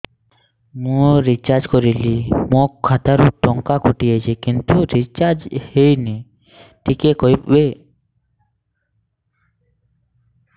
ମୁ ରିଚାର୍ଜ କରିଲି ମୋର ଖାତା ରୁ ଟଙ୍କା କଟି ଯାଇଛି କିନ୍ତୁ ରିଚାର୍ଜ ହେଇନି ଟିକେ କହିବେ